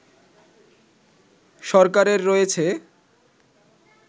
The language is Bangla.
সরকারের রয়েছে